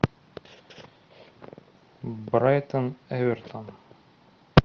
брайтон эвертон